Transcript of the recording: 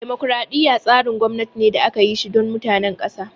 Dimokraɗiya tsarin gwamnati ne da aka yi shi don mutanen ƙasa